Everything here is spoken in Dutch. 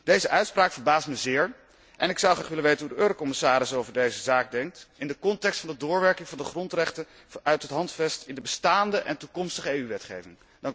Deze uitspraak verbaast mij zeer en ik zou graag willen weten hoe de Eurocommissaris over deze zaak denkt in de context van de doorwerking van de grondrechten uit het Handvest in de bestaande en toekomstige EU wetgeving.